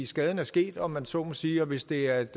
skaden er sket om man så må sige og hvis det er et